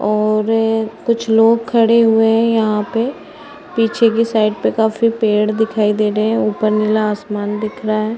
और कुछ लोग खड़े हुए हैं यहाँ पे पीछे कि साइड पे काफ़ी पेड़ दिखाई दे रहे हैं। उपर नीला आसमान दिख रहा है।